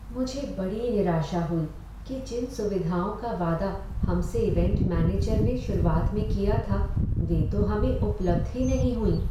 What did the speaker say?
मुझे बड़ी निराशा हुई कि जिन सुविधाओं का वादा हमसे इवैंट मैनेजर ने शुरुआत में किया था वे तो हमें उपलब्ध ही नहीं हुईं।